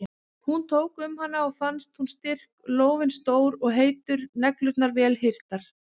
Hún tók um hana og fannst hún styrk, lófinn stór og heitur, neglurnar vel hirtar.